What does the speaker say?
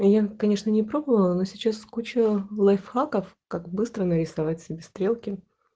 я конечно не пробовала но сейчас куча лайфхаков как быстро нарисовать себе стрелки